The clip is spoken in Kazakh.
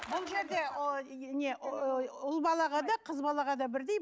бұл жерде ұл балаға да қыз балаға да бірдей